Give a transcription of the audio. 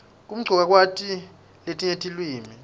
kumcoka kwati letinye tiliwimi